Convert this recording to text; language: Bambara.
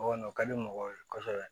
O kɔni o ka di mɔgɔw ye kosɛbɛ